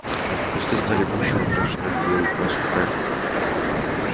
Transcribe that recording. кусты стали гуще выкрашенная в белую краску кайма